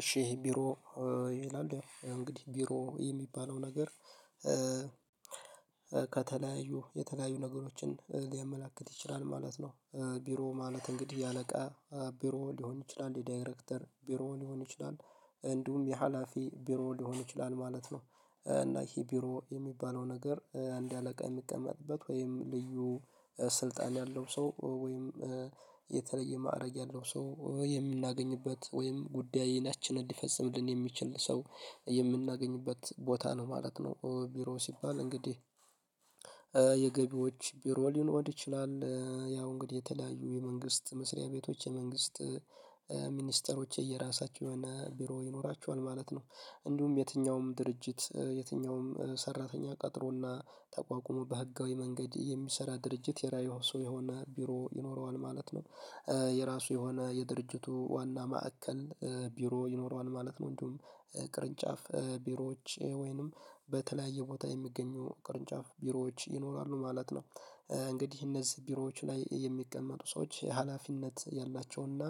እሺ ቢሮ ይላል እንግዲህ ቢሮ የሚባለው ነገር ከተለያዩ የተለያዩ ነገሮችን ሊያመላክት ይችላል ማለት ነው። ቢሮ ማለት እንግዲህ የአለቃ ቢሮ ሊሆን ይችላል የዳይሬክተር ቢሮ ሊሆን ይችላል እንዲሁም የሀላፊ ቢሮ ሊሆን ይችላል ማለት ነው እና ይሄ ቢሮ የሚባለው ነገር እንደ አለቃ የሚቀመጥበት ወይም ልዩ ስልጣን ያለው ሰው ወይም የተለየ ማዕረግ ያለው ሰው የምናገኝበት ወይም ጉዳይ ናችንን ሊፈጽምልን የሚችል ሰው የምናገኝበት ቦታ ነው ማለት ነው ቢሮ ሲባል እንግዲህ የገቢዎች ቢሮ ሊኖር ይችላል ያው እንግዲህ የተለያዩ የመንግስት መስሪያ ቤቶች የመንግስት ሚኒስተሮች የየራሳቸው የሆነ ቢሮ ይኖራቸዋል ማለት ነው እንዲሁም የትኛውም ድርጅት የትኛውም ሰራተኛ ቀጥሮና ተቋቁሞ በህጋዊ መንገድ የሚሰራ ድርጅት የራዕይ ሰው የሆነ ቢሮ ይኖረዋል ማለት ነው የራሱ የሆነ የድርጅቱ ዋና ማዕከል ቢሮ ይኖረዋል ማለት ነው እንዲሁም ቅርንጫፍ ቢሮዎች ወይንም በተለያየ ቦታ የሚገኙ ቅርንጫፍ ቢሮዎች ይኖራሉ ማለት ነው እንግዲህ እነዚህ ቢሮዎች ላይ የሚቀመጡ ሰዎች ሀላፊነት ያላቸውና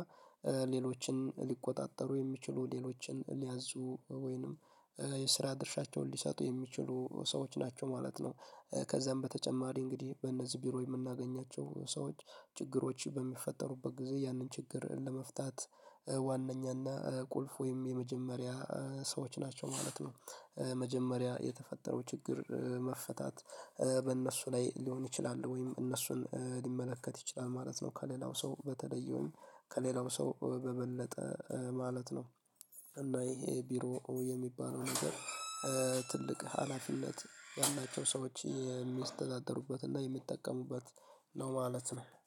ሌሎችን ሊቆጣጠሩ የሚችሉ ሌሎችን ሊያዙ ወይንም የስራ ድርሻቸውን ሊሰጡ የሚችሉ ሰዎች ናቸው ማለት ነው ሚኒስተሮች የራሳቸው የሆነ ቢሮ ይኖራቸዋል ማለት ነው እንዲሁም የትኛውም ድርጅት የትኛውም ሰራተኛ ቀጥሮና ተቋቁሞ በህጋዊ መንገድ የሚሰራ ድርጅት የራዕይ ሰው የሆነ ቢሮ ይኖረዋል ማለት ነው የራሱ የሆነ የድርጅቱ ዋና ማዕከል ቢሮ ይኖረዋል ማለት ነው እንዲሁም ቅርንጫፍ ቢሮዎች ወይንም በተለያየ ቦታ የሚገኙ ቅርንጫፍ ቢሮዎች ይኖራሉ ማለት ነው እንግዲህ እነዚህ ቢሮዎች ላይ የሚቀመጡ ሰዎች ሀላፊነት ያላቸውና ሌሎችን ሊቆጣጠሩ የሚችሉ ሌሎችን ሊያዙ ወይንም የስራ ድርሻቸውን ሊሰጡ የሚችሉ ሰዎች ናቸው ማለት ነው